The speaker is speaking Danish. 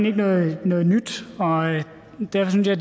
ikke noget nyt og derfor synes jeg